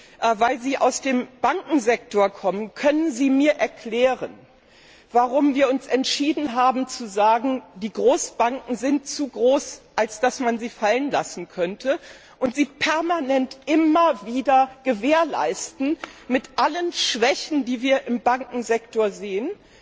Da Sie aus dem Bankensektor kommen Können Sie mir erklären, warum wir uns entschieden haben zu sagen, die Großbanken sind zu groß als dass man sie fallen lassen könnte, und sie permanent immer wieder sichern, mit allen Schwächen, die wir im Bankensektor sehen?